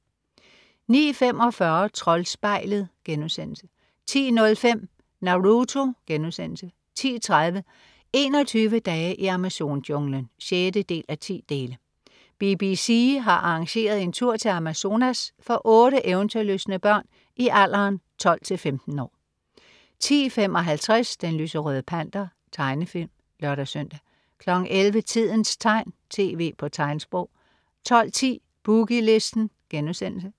09.45 Troldspejlet* 10.05 Naruto* 10.30 21 dage i Amazon-junglen 6:10. BBC har arrangeret en tur til Amazonas for otte eventyrlystne børn i alderen 12-15 år 10.55 Den lyserøde Panter. Tegnefilm (lør-søn) 11.00 Tidens tegn, TV på tegnsprog 12.10 Boogie Listen*